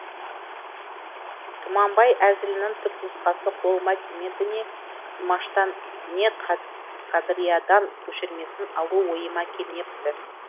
тұманбай әзілінің түпнұсқасы қолыма тимеді не тұмаштан не қадыриядан көшірмесін алу ойыма келмепті